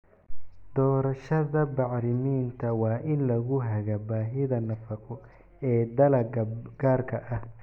Doorashada bacriminta waa in lagu hagaa baahida nafaqo ee dalagga gaarka ah